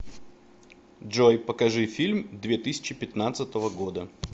джой покажи фильм две тысячи пятнадцатого года